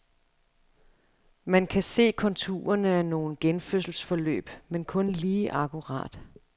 Man kan se konturerne af nogle genfødselsforløb, men kun lige akkurat.